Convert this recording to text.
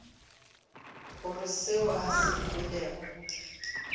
gore seo a se kwelego